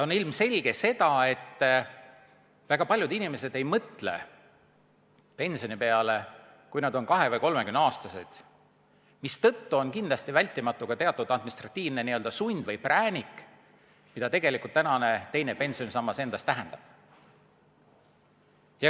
On ilmselge, et väga paljud inimesed ei mõtle pensioni peale, kui nad on 20- või 30-aastased, mistõttu on kindlasti vältimatu ka teatud administratiivne n-ö sund või präänik, mida tegelikult tänane teine pensionisammas tähendab.